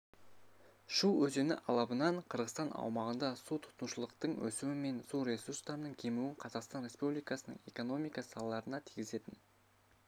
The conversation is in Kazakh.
шу өзені алабынан қырғызстан аумағында су тұтынушылықтың өсуі мен су ресурстарының кемуінің қазақстан республикасының экономика салаларына тигізетін